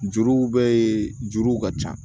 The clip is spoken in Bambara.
Juru bɛ juruw ka ca